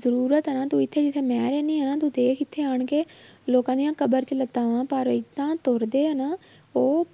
ਜ਼ਰੂਰਤ ਹੈ ਨਾ ਤੂੰ ਇੱਥੇ ਜਿੱਥੇ ਮੈਂ ਰਹਿੰਦੀ ਹਾਂ ਨਾ ਤੂੰ ਦੇਖ ਇੱਥੇ ਆਉਣ ਕੇ ਲੋਕਾਂ ਦੀਆਂ ਕਬਰ 'ਚ ਲੱਤਾਂ ਵਾਂ ਪਰ ਏਦਾਂਂ ਤੁਰਦੇ ਆ ਨਾ ਉਹ